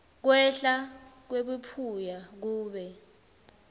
kwehla kwebuphuya kube